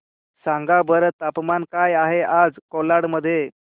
सांगा बरं तापमान काय आहे आज कोलाड मध्ये